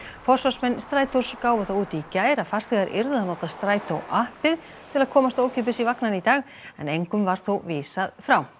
forsvarsmenn Strætós gáfu það út í gær að farþegar yrðu að nota Strætó appið til að komast ókeypis í vagnana í dag en engum var þó vísað frá